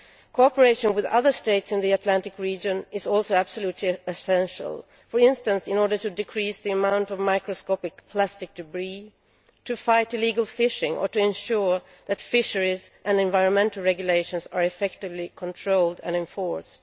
Cooperation with other States in the Atlantic region is also absolutely essential in order, for instance, to decrease the amount of microscopic plastic debris, to fight illegal fishing or to ensure that fisheries and environmental regulations are effectively controlled and enforced.